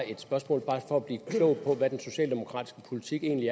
et spørgsmål bare for at blive klog på hvad den socialdemokratiske politik egentlig